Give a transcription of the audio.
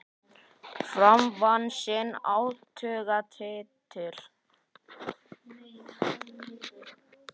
Fram vann sinn áttunda titil.